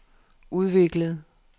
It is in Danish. udviklede